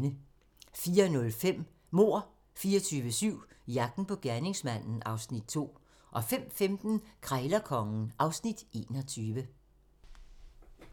04:05: Mord 24/7 - jagten på gerningsmanden (Afs. 2) 05:15: Krejlerkongen (Afs. 21)